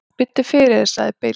"""Biddu fyrir þér, sagði Bill."""